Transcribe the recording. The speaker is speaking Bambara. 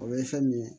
O ye fɛn min ye